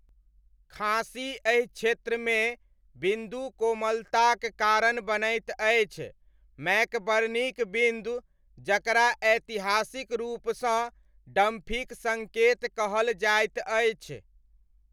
खाँसी एहि क्षेत्रमे बिन्दु कोमलताक कारण बनैत अछि ,मैकबर्नीक बिन्दु, जकरा ऐतिहासिक रूपसँ डम्फीक सङ्केत कहल जाइत अछि।